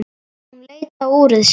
Hún leit á úrið sitt.